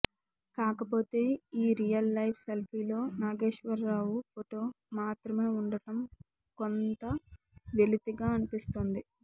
కాకపోతే ఈ real life సెల్ఫీలో నాగేశ్వరరావు ఫొటో మాత్రమే ఉండటం కొంత వెలితిగా అనిపిస్తోంది